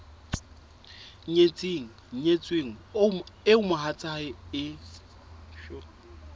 nyetseng nyetsweng eo mohatsae e